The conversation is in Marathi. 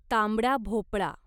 तांबडा भोपळा